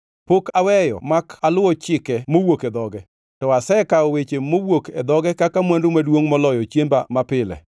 Pok aweyo mak aluwo chike mowuok e dhoge; to asekawo weche mowuok e dhoge kaka mwandu maduongʼ moloyo chiemba mapile.